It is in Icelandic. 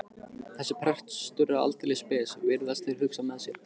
Þessi prestur er aldeilis spes, virðast þeir hugsa með sér.